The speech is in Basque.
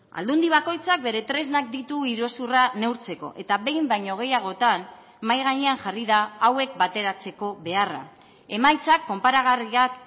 aldundi bakoitzak bere tresnak ditu iruzurra neurtzeko eta behin baino gehiagotan mahai gainean jarri da hauek bateratzeko beharra emaitzak konparagarriak